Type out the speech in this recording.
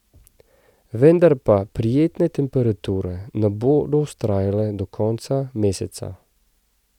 Vendar pa prijetne temperature ne bodo vztrajale do konca meseca.